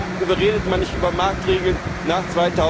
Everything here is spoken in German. vor? Warum redet man nicht über Marktregeln nach